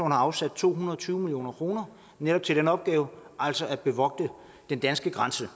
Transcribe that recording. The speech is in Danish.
afsat to hundrede og tyve million kroner netop til den opgave altså at bevogte den danske grænse